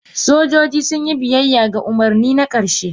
sojoji sun yi biyayya ga umarni na ƙarshe.